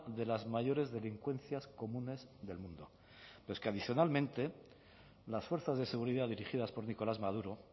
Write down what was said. de las mayores delincuencias comunes del mundo pero es que adicionalmente las fuerzas de seguridad dirigidas por nicolás maduro